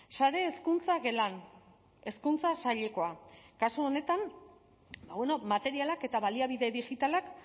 sare hezkuntza gela hezkuntza sailekoa kasu honetan bueno materialak eta baliabide digitalak